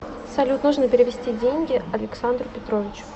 салют нужно перевести деньги александру петровичу